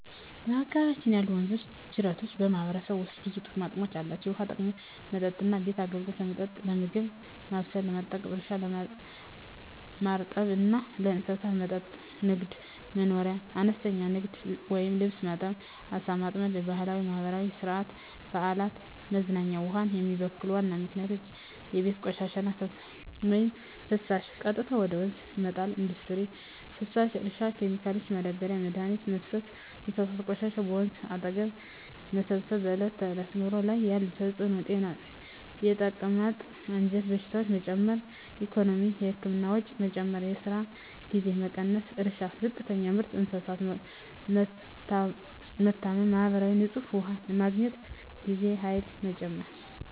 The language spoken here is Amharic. በአካባቢያችን ያሉ ወንዞችና ጅረቶች በማህበረሰቡ ውስጥ ብዙ ጥቅሞች አላቸው፣ የውሃ ጥቅሞች መጠጥና ቤት አገልግሎት – ለመጠጥ፣ ለምግብ ማብሰል፣ ለማጠብ እርሻ – ማርጠብ እና ለእንስሳት መጠጥ ንግድ/መኖርያ – አነስተኛ ንግድ (ልብስ ማጠብ፣ ዓሣ ማጥመድ) ባህላዊና ማህበራዊ – ሥነ-ሥርዓት፣ በዓላት፣ መዝናኛ ውሃን የሚበክሉ ዋና ምክንያቶች የቤት ቆሻሻና ፍሳሽ – በቀጥታ ወደ ወንዝ መጣል ኢንዱስትሪ ፍሳሽ – እርሻ ኬሚካሎች – ማዳበሪያና መድኃኒት መፍሰስ እንስሳት ቆሻሻ – በወንዝ አጠገብ መሰብሰብ በዕለት ተዕለት ኑሮ ላይ ያለ ተጽዕኖ ጤና – የተቅማጥ፣ የአንጀት በሽታዎች መጨመር ኢኮኖሚ – የህክምና ወጪ መጨመር፣ የስራ ጊዜ መቀነስ እርሻ – ዝቅተኛ ምርት፣ እንስሳት መታመም ማህበራዊ – ንጹህ ውሃ ለማግኘት ጊዜና ኃይል መጨመር